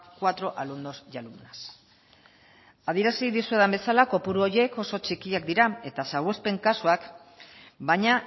cuatro alumnos y alumnas adierazi dizuedan bezala kopuru horiek oso txikiak dira eta salbuespen kasuak baina